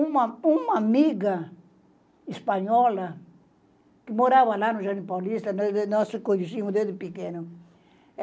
Uma amiga uma amiga espanhola que morava lá no Jardim Paulista, nós nos conhecíamos desde pequenos.